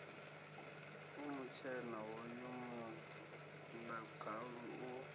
u mutshena hoyu muḽagalu u